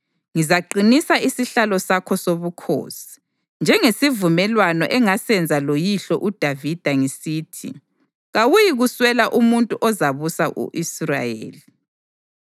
ngizaqinisa isihlalo sakho sobukhosi, njengesivumelwano engasenza loyihlo uDavida ngisithi: ‘Kawuyikuswela umuntu ozabusa u-Israyeli.’